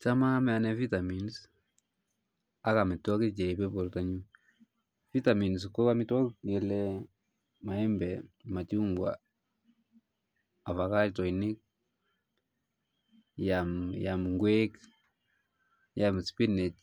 Cham aame anee vitamins ak amitwokik che ripe porto nyu, vitamins ko amitwokik ngele maembek machungwek, afakatoinik iam kwek iam spinach